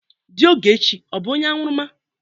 Di Ogechi ọ bụ onye añụrụma?